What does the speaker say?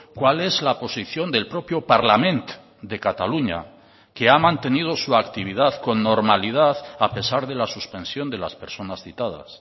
cuál es la posición del propio parlament de cataluña que ha mantenido su actividad con normalidad a pesar de la suspensión de las personas citadas